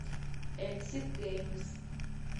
экситгеймс